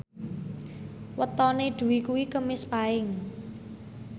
wetone Dwi kuwi Kemis Paing